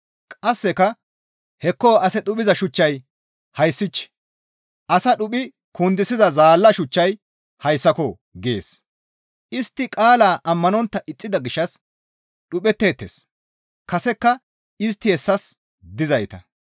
Qasseka, «Hekko ase dhuphiza shuchchay hayssich! Asa dhuphi kundisiza zaalla shuchchay hayssako» gees; istti qaalaa ammanontta ixxida gishshas dhuphetteettes; kasekka istti hessas dizayta.